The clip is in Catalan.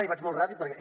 i vaig molt ràpid perquè